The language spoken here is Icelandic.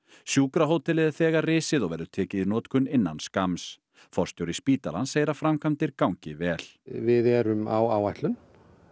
sjúkrahótelið er þegar risið og verður tekið í notkun innan skamms forstjóri spítalans segir að framkvæmdir gangi vel við erum á áætlun